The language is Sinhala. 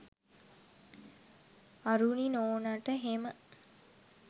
අරුණි නෝනාට හෙම